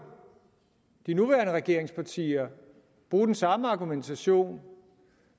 de nuværende regeringspartier bruge den samme argumentation